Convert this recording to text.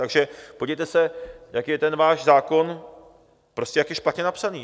Takže podívejte se, jak je ten váš zákon, prostě jak je špatně napsaný.